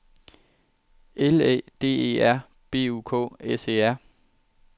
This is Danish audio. L Æ D E R B U K S E R